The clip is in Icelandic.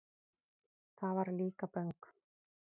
Það var Líkaböng.